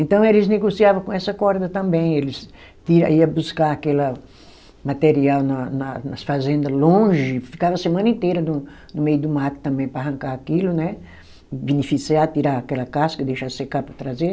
Então eles negociava com essa corda também, eles tinha, ia buscar aquela material na na nas fazenda longe, ficava a semana inteira do, no meio do mato também para arrancar aquilo, né, beneficiar, tirar aquela casca, deixar secar para trazer.